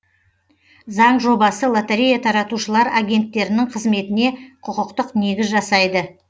заң жобасы лотерея таратушылар агенттерінің қызметіне құқықтық негіз жасайды